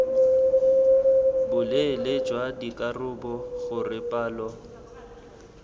boleele jwa dikarabo gore palo